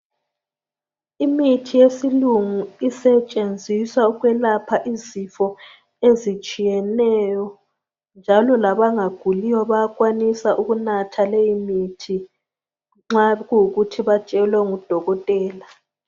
Imithi yesilungu isetshenziswa ukwelapha izifo ezitshiyeneyo njalo labangaguliyo bayakwanisa ukunatha leyi mithi, nxa kuyikuthi batshelwe ngudokotela.